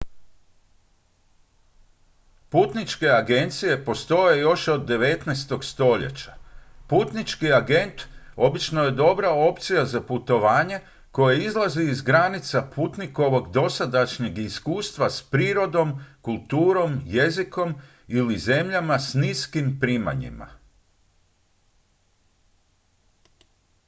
putničke agencije postoje još od 19. stoljeća putnički agent obično je dobra opcija za putovanje koje izlazi iz granica putnikovog dotadašnjeg iskustva s prirodom kulturom jezikom ili zemljama s niskim primanjima